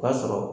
O b'a sɔrɔ